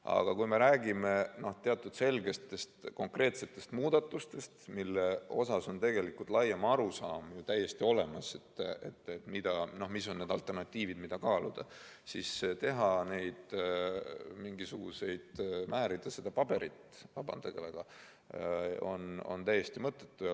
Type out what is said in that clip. Aga kui me räägime teatud selgetest konkreetsetest muudatustest, mille puhul on täiesti olemas laiem arusaam, mis on alternatiivid, mida kaaluda, siis siiski neid teha, määrida paberit – vabandage väga, see on täiesti mõttetu.